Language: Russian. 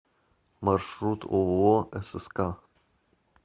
маршрут ооо сск